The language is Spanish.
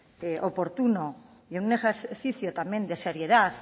oportuno y en un ejercicio también de seriedad